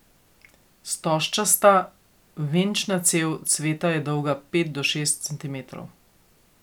Stožčasta venčna cev cveta je dolga pet do šest centimetrov.